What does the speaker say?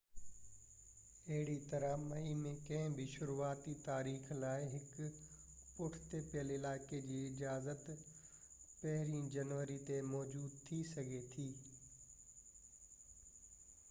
اهڙي طرح مئي ۾ ڪنهن بہ شروعاتي تاريخ لاءِ هڪ پٺتي پيل علائقي جي اجازت 1 جنوري تي موجود ٿي سگهي ٿي